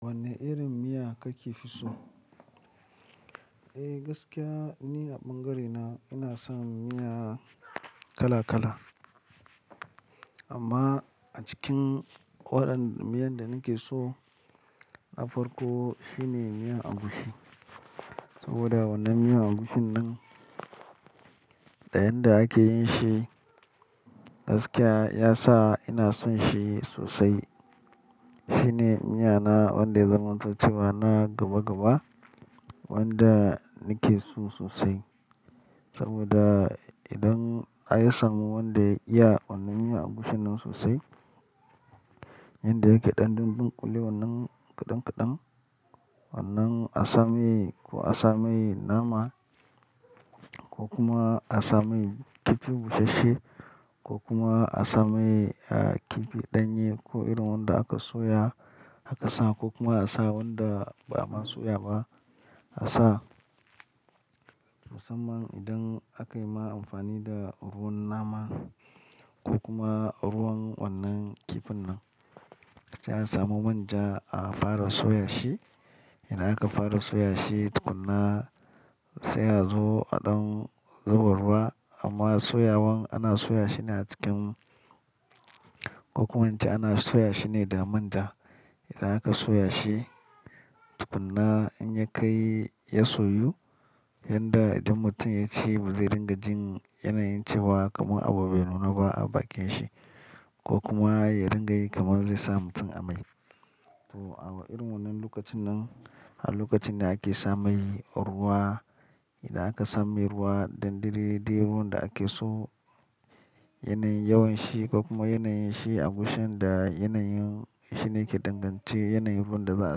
Wanne irin miya kake fi so? Eh gaskiya ni a ɓangarena ina son miya kala kala. Amma a cikin waɗannan miyan da nake so, na farko shine miyan agushi. Saboda wannan miyan agushin nan ɗayan da ake yin shi gaskiya ya sa ina son shi sosai. Shi ne miya na wanda ya zaman to cewa na gaba gaba wanda nake so sosai. Saboda idan a yi samu wanda ya iya wannan miyan agushin nan sosai, yanda yake ɗanɗanon ɗinkule wannan kaɗan kaɗan, wannan asami ko asami nama ko kuma asami kifi busasshe ko kuma asami, ah, kifi ɗanye ko irin wanda aka soya aka sa ko kuma a sa wanda ba'a soya ba. A sa musamman idan aka yi ma amfani da ruwan nama ko kuma ruwan wannan kifin nan, sai a samu manja a fara soya shi. Idan aka fara soya shi tukuna sai a zo a ɗan zuba ruwa amma soyawan ana soya shi ne a cikin ko kuma an ce ana soya shi ne da manja. Idan aka soya shi tukuna in ya kai ya soyu, yanda idan mutum ya ci ba zai ringa jin yanayin cewa kamar abu bai nuna ba a bakin shi ko kuma ya ringa yi kamar zai sa mutum amai. To awa irin wannan lokacin nan har lokacin da ake sa mai ruwa, idan aka sa mai ruwa ɗan didiriɗi ruwan da ake so yanayin yawan shi ko kuma yanayin shi agushin da yanayin shi ne ke dangance yanayin ruwan da za a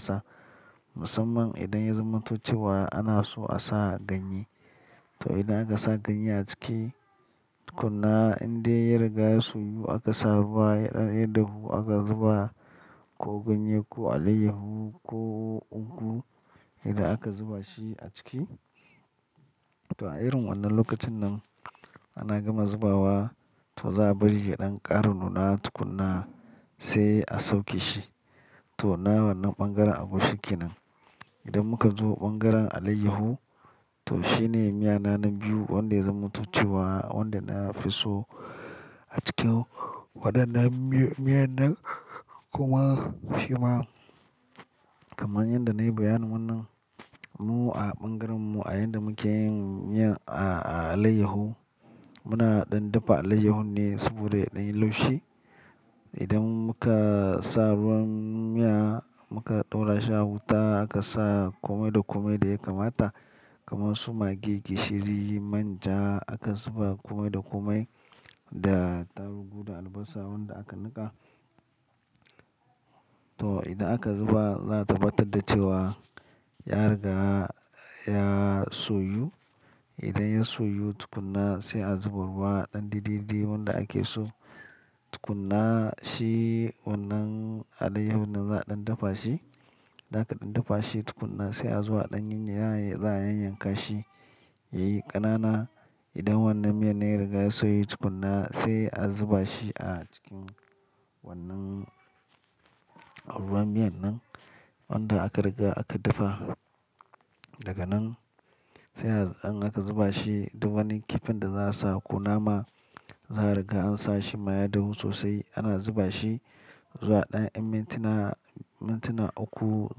sa. Musamman idan ya zama toh cewa ana so a sa ganye. To idan aka sa ganye a ciki tukuna indai ya riga ya soyu aka sa ruwa ya ɗan yar dahu aka zuba ko ganye ko alayyahu ko ugu idan aka zuba shi a ciki. To a irin wannan lokacin nan ana gama zubawa toh za a bari ya ɗan ƙaru nuna tukuna sai a sauke shi. To nawan nan ɓangaren agushi ke nan. Idan muka zo ɓangaren alayyahu, toh shi ne miya na na biyu wanda ya za man to cewa wanda na fi so a cikin waɗannan miyan nan. Kuma shi ma kamar yadda na yi bayanin wannan, mu a ɓangaren mu a yanda muke yin miya a alayyahu, muna ɗan dafa alayyahun ne saboda ya ɗan yi laushi. Idan muka sa ruwan miya muka ɗora shi a wuta aka sa kome da kome da ya kamata kamar su mage gishiri, manja aka zuba kome da kome da tarugu da albasa wanda aka niƙa. To idan aka zuba za a tabbatar da cewa ya riga ya soyu. Idan ya soyu tukuna sai a zuba ruwa ɗan didiriɗi wanda ake so. Tukuna shi wannan alayyahun nan za a ɗan dafa shi. Idan aka ɗan dafa shi tukuna sai a zo a ɗan yanya za a yanyanka shi yayi ƙanana. Idan wannan miyan ya riga ya soyu tukuna sai a zuba shi a cikin wannan ruwan miyan nan wanda aka riga aka dafa. Daga nan sai an aka zuba shi duk wannan kifin da za a sa ko nama za a riga an sa shi ma ya dahu sosai. Ana zuba shi zuwa ɗayan mintuna, mintuna uku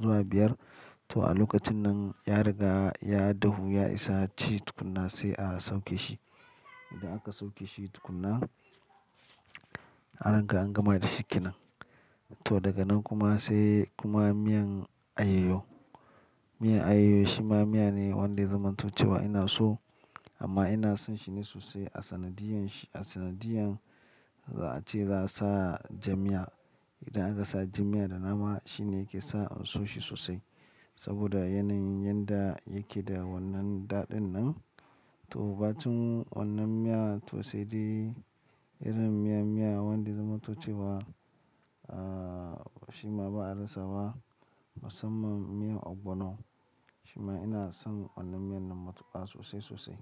zuwa biyar. To a lokacin nan ya riga ya dahu ya isa ci tukuna sai a sauke shi. Idan aka sauke shi tukuna, harkan an gama da shi ke nan. To daga nan kuma sai kuma miyan ayoyo. Miyar ayoyo shi ma miya ne wanda zan mutu cewa ina so amma ina son shi ne sosai a sanadiyan shi a sanadiyan za a ce za a sa jami'a. Idan aka sa jan miya da nama shi ne ke sa in so shi sosai. Saboda yanayin yanda yake da wannan daɗin nan. To batun wannan miya toh sai dai irin miya miya wanda zan mutu cewa, ah, shi ma ba a rasa ba musamman miyan ogbono. Shi ma ina son wannan miyan nan matuƙa sosai sosai.